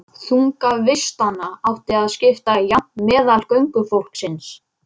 Herbergin voru dimm, þröng og óyndisleg.